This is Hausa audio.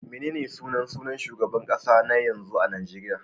Menene sunan sunan shugaban kasa na yanzu a Najeriya?